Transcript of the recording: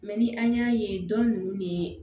Mɛ ni an y'a ye dɔn ninnu ne